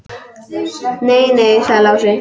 Nei, nei, sagði Lási.